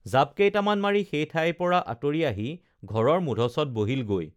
জাপ কেইটামান মাৰি সেই ঠাইৰ পৰা আঁতৰি আহি ঘৰৰ মূধচত বহিল গৈ